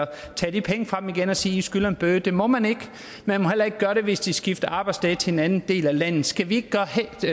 tage de penge fra dem igen og sige i skylder en bøde det må man ikke man må heller ikke gøre det hvis de skifter arbejdssted til en anden del af landet skal vi